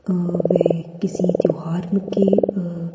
अ वे किसी त्योहार के अ --